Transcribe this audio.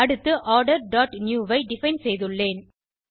அடுத்து order dot new I define செய்துள்ளேன்